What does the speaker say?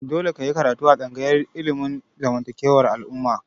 Dole ka yi karatu a tsangayar ilimin zamantakewar al'umma!